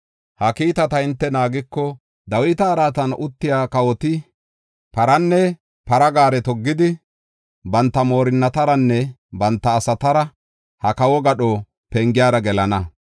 Ha kiitata hinte naagiko, Dawita araatan uttiya kawoti paranne para gaare toggidi, banta moorinnataranne banta asaara ha kawo gadho pengiyara gelana.